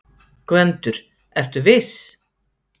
GVENDUR: Ertu viss?